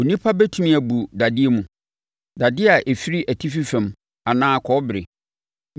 “Onipa bɛtumi abu dadeɛ mu dadeɛ a ɛfiri atifi fam, anaa kɔbere?